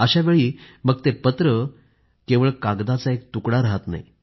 अशावेळी मग ते पत्र काही केवळ कागदाचा एक तुकडा राहत नाही